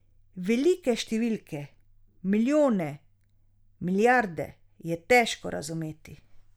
Velike številke, milijone, milijarde, je težko razumeti.